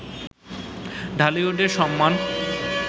ঢালিউডের সম্মান